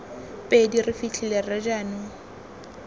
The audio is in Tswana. pedi re fitlhile rre jaanong